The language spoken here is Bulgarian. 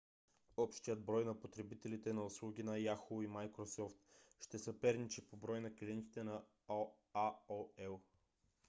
общият брой на потребителите на услуги на yahoo! и microsoft ще съперничи по брой на клиентите на aol